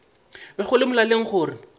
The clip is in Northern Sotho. be go le molaleng gore